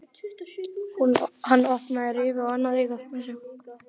Hann opnaði rifu á annað augað.